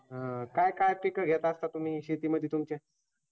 अं काय काय पीक घेत असता तुम्ही शेतीमध्ये तुमच्या?